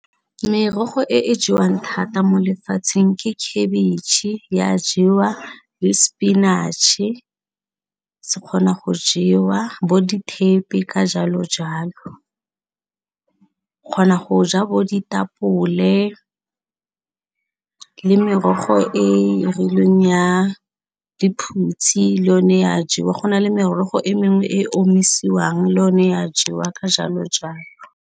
Merogo e e jewang thata mo lefatsheng ke khabitšhe ya jewa le spinach-e se kgona go jewa bo dithepe ka jalo jalo, kgona go ja bo ditapole le merogo e e rileng ya lephutshe le yone ya jewa go na le merogo e mengwe e e omisiwang le yone ya jewa ka jalo jalo.